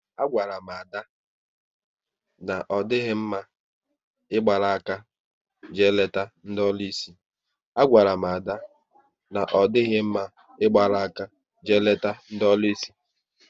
A gwara m Ada na ọ dịghị mma ịgbara áká jee leta ndị ọlụsị